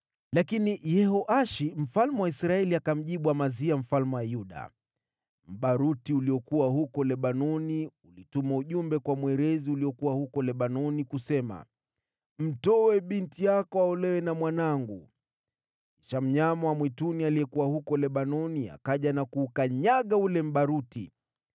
Lakini Yehoashi mfalme wa Israeli akamjibu Amazia mfalme wa Yuda, “Mbaruti uliokuwa Lebanoni ulituma ujumbe kwa mwerezi uliokuwa Lebanoni, ‘Mtoe binti yako aolewe na mwanangu.’ Kisha mnyama wa mwituni aliyekuwa Lebanoni akaja na kuukanyaga ule mbaruti.